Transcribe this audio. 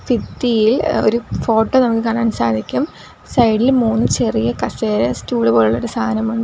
ഭിത്തിയിൽ ഏഹ് ഒരു ഫോട്ടോ നമുക്ക് കാണാൻ സാധിക്കും സൈഡില് മൂന്ന് ചെറിയ കസേര സ്റ്റൂള് പോലുള്ളൊരു സാധനം ഉണ്ട്.